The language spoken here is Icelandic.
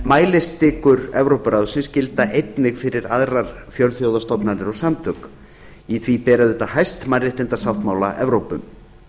mælistikur evrópuráðsins gilda einnig fyrir aðrar fjölþjóðastofnanir og samtök þar ber auðvitað hæst mannréttindasáttmála evrópu